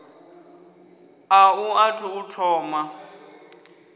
a u athu u thoma